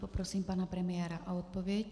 Poprosím pana premiéra o odpověď.